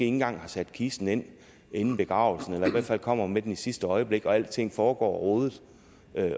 engang har sat kisten ind inden begravelsen eller i hvert fald kommer med den i sidste øjeblik og hvor alting foregår rodet